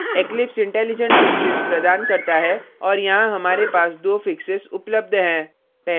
eclipse intelligents fixes प्रदान करता है और यहाँ हमारे पास दो fixes उपलब्ध हैं